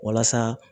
Walasa